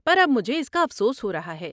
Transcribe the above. پر اب مجھے اس کا افسوس ہو رہا ہے۔